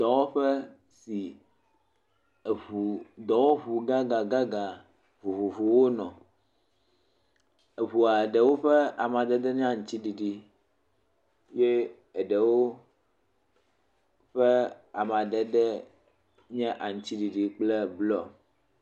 Dɔwɔƒe si eŋu, dɔwɔŋu gãgãgã vovovowo nɔ. Eŋua ɖewo ƒe amadedee nye aŋutsiɖiɖi, ye eɖewo ƒe amadedee nye aŋutsiɖiɖi kple blɔ.